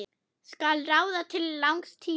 Skal ráða til langs tíma?